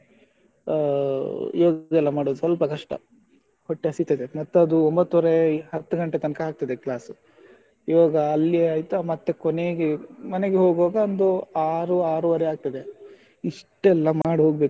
ಆಹ್ ಯೋಗಾ ಎಲ್ಲಾ ಮಾಡುದು ಸ್ವಲ್ಪಕಷ್ಟ ಹೊಟ್ಟೆ ಹಸಿತದೆ ಮತ್ತೆ ಅದು ಒಂಬತ್ತುವರೆ ಹತ್ತು ಗಂಟೆ ತನಕ ಆಗ್ತದೆ class . ಯೋಗ ಅಲ್ಲಿ ಆಯ್ತು ಮತ್ತೆ ಕೊನೆಗೆ ಮನೆಗೆ ಹೋಗುವಾಗ ಒಂದು ಆರು ಆರೂವರೆಗೆ ಆಗ್ತದೆ ಇಷ್ಟೆಲ್ಲಾ ಮಾಡಿ ಹೋಗ್ಬೇಕು.